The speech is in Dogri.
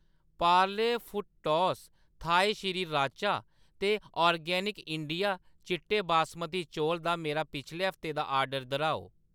पार्ले फुटटॉस थाई श्रीराचा ते ऑर्गेनिक इंडिया चिट्टे बासमती चौल दा मेरा पिछले हफ्ते दा आर्डर दर्‌हाओ।